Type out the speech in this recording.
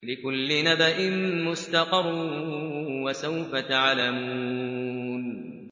لِّكُلِّ نَبَإٍ مُّسْتَقَرٌّ ۚ وَسَوْفَ تَعْلَمُونَ